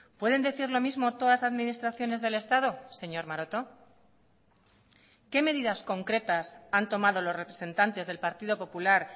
pueden decir lo mismo todas las administraciones del estado señor maroto qué medidas concretas han tomado los representantes del partido popular